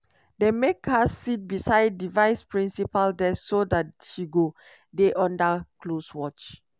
dem make her sit beside di vice principal desk so dat she go dey under close watch.